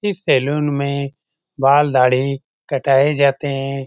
इस सैलून में बाल-दाढ़ी कटाए जाते हैं।